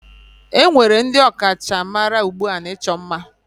Enwere ndị ọkachamara ugbu a n'ịchọ ima